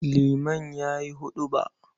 Liman ya yi huɗuba.